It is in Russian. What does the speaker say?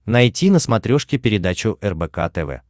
найти на смотрешке передачу рбк тв